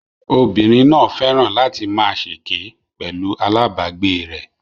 Obìnrin náà fẹ́ràn láti máa ṣèké pẹ̀lú alabagbe rẹ